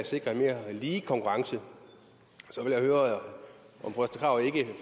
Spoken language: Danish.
sikrer en mere lige konkurrence så vil jeg høre om fru